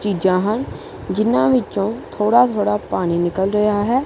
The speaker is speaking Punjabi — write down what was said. ਚੀਜਾਂ ਹਨ ਜਿਹਨਾਂ ਵਿੱਚੋਂ ਥੋੜ੍ਹਾ ਥੋੜ੍ਹਾ ਪਾਣੀ ਨਿੱਕਲ ਰਿਹਾ ਹੈ।